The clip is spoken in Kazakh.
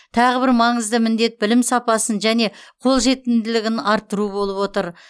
тағы бір маңызды міндет білім сапасын және қолжетімділігін арттыру болып отыр